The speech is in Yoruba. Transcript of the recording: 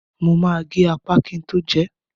Mo ma gé ápà kin tó jẹẹ́.